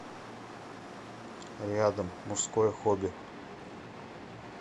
рядом мужское хобби